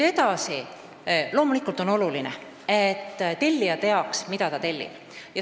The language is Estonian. Edasi, loomulikult on oluline, et tellija teaks, mida ta tellib.